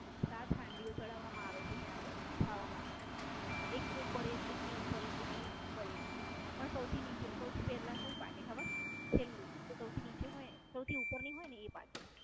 સાત હાંડી ઓ ચડાવવામાં આવે છે ત્યાં ગાળી ખાવા માટે એક ઉપર એક એકની ઉપર એક એકની ઉપર એક પણ સૌથી નીચે સૌથી પેલા કઈ પાકે ખબર સૌથી નીચે ની સૌથી ઉપર ની હોય ને એ પાકે.